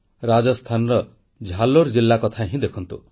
ରାଜସ୍ଥାନର ଝାଲୋର ଜିଲ୍ଲା କଥା ହିଁ ଦେଖନ୍ତୁ